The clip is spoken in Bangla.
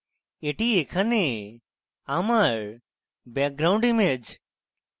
এটি এখানে আমার background image